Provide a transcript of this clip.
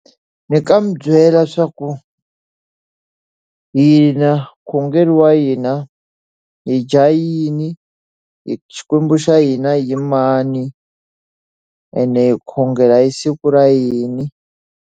Ni nga n'wi byela leswaku hina vukhongeri wa hina, hi dya yini Xikwembu xa hina i mani ene hi khongela hi siku ra yini.